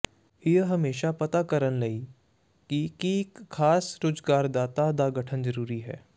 ਇਹ ਹਮੇਸ਼ਾ ਪਤਾ ਕਰਨ ਲਈ ਕਿ ਕੀ ਇੱਕ ਖਾਸ ਰੁਜ਼ਗਾਰਦਾਤਾ ਦਾ ਗਠਨ ਜ਼ਰੂਰੀ ਹੈ